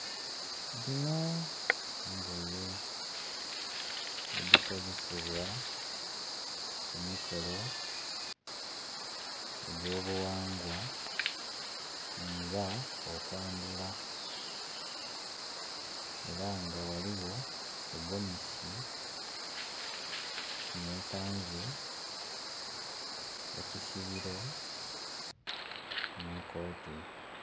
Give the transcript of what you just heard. Dhino ngogye edhikozesebwa ku mikolo egyo bughangwa nga okwandhula era nga ghaligho egomesi ne kanzu, ekisibiro ne koti.